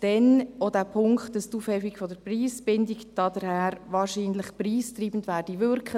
Dann folgt der Punkt, dass die Aufhebung der Preisbindung wahrscheinlich preistreibend wirken werde.